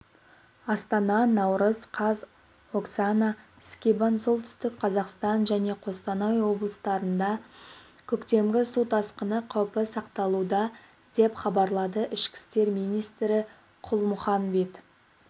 астана наурыз қаз оксана скибан солтүстік қазақстан және қостанай облыстарында көктемгі су тасқыны қаупі сақталуда деп хабарлады ішкі істер министрі қалмұханбет